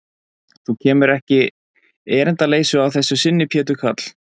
Þú kemur ekki erindisleysu að þessu sinni, Pétur karl.